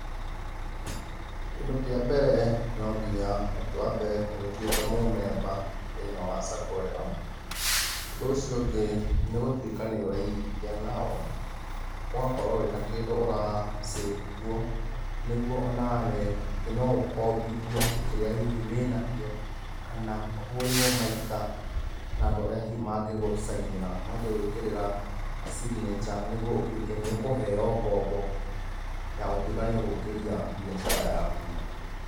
Kĩndũ kĩa mbere, no nginya wambe ũgĩtuĩke mũmemba, thĩiniĩ wa saco ĩyo, ũndũ ũcio ũngĩ nĩ gũtuĩka nĩũraigithia nao, ugakorũo wĩna kĩndũ ũrasavũ kuo, nĩguo onawe atĩ no ũkombithio, kĩrĩa hihi wĩnakĩo, kana, ũhũrĩrũo maita, nandũ arĩa hihi mangĩgũsainĩra, mangĩgũĩkĩrĩra signature, nĩguo ũtuĩke nĩũkũheo ngombo, ya gũtuĩka nĩũgũkĩria mbiacara yaku.